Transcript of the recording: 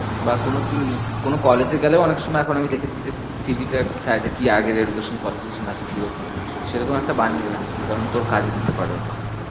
বা কোনো তুই নতু~ কোনো college এ গেলেও অনেক সময় এখন আমি দেখেছি যে C. V. টা আর কি চায়ে যে কি আগের education qualification আছে কি রকম সেরকম একটা বানিয়ে রাখ তুই কারণ তোর কাজে দিতে পারে ওটা অনেক।